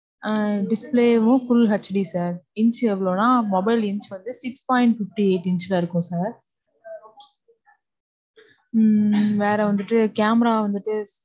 ஆஹ் display வும் full hd sir inch எவ்வளவுனா, mobile inch வந்து six point fifty eight inch தான் இருக்கும் sir. உம் வேற வந்துட்டு, camera வந்துட்டு,